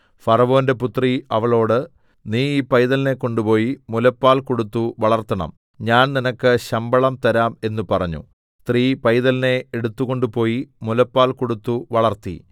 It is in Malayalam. ഫറവോന്റെ പുത്രി അവളോട് നീ ഈ പൈതലിനെ കൊണ്ടുപോയി മുലപ്പാൽ കൊടുത്തു വളർത്തണം ഞാൻ നിനക്ക് ശമ്പളം തരാം എന്ന് പറഞ്ഞു സ്ത്രീ പൈതലിനെ എടുത്തുകൊണ്ടുപോയി മുലപ്പാൽ കൊടുത്തു വളർത്തി